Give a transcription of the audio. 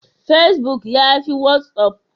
Facebook yafi watsapp?